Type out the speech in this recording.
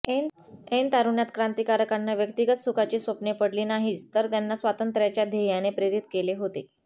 ऐन तारुण्यात क्रांतीकारकांना व्यक्तीगत सुखाची स्वप्ने पडली नाहीत तर त्यांना स्वातंत्र्याच्या ध्येयाने प्रेरीत केले होते